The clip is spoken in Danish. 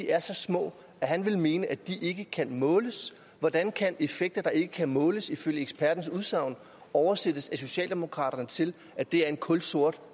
er så små at han ville mene at de ikke kan måles hvordan kan det at effekter ikke kan måles ifølge ekspertens udsagn oversættes af socialdemokraterne til at det er en kulsort